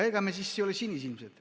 Ega me ei ole sinisilmsed.